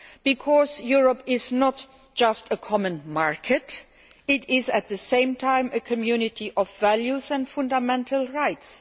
Because Europe is not just a common market it is, at the same time, a Community of values and fundamental rights.